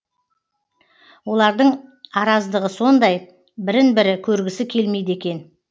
олардың араздығы сондай бірін бірі көргісі келмейді екен